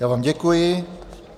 Já vám děkuji.